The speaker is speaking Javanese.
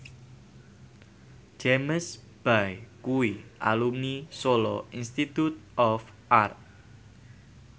James Bay kuwi alumni Solo Institute of Art